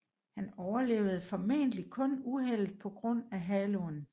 Han overlevede formentlig kun uheldet på grund af haloen